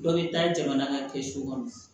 Dɔ bɛ taa jamana ka kɛsu kɔnɔ